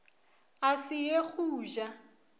a se ye go ja